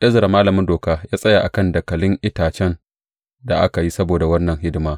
Ezra malamin Doka ya tsaya a kan dakalin itacen da aka yi saboda wannan hidima.